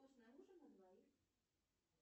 вкусный ужин на двоих